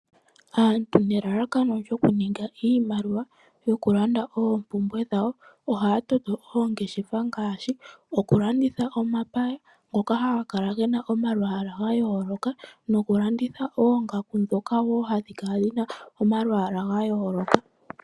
Aantu nelalakano lyoku ninga iimaliwa yoku landa oompumbwe dhawo, ohaya toto oongeshefa ngashi, oku landitha omapaya ngoka haga kala gena omalwaala ga yooloka noku landitha oongaku dhoka wo hadhi kala dhina omalwaala ga yooloka.